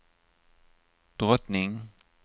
drottning